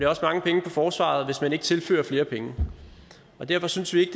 også mange penge for forsvaret hvis ikke man tilfører flere penge derfor synes vi